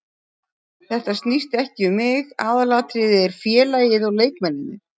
Þetta snýst ekki um mig, aðalatriðið er félagið og leikmennirnir.